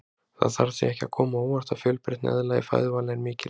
Það þarf því ekki að koma á óvart að fjölbreytni eðla í fæðuvali er mikil.